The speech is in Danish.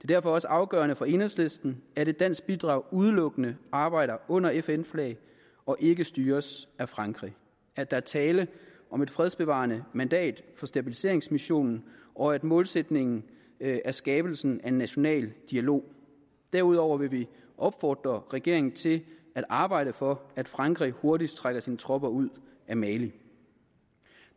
derfor også afgørende for enhedslisten at et dansk bidrag udelukkende arbejder under fn flag og ikke styres af frankrig at der er tale om et fredsbevarende mandat for stabiliseringsmissionen og at målsætningen er skabelsen af en national dialog derudover vil vi opfordre regeringen til at arbejde for at frankrig hurtigst trækker sine tropper ud af mali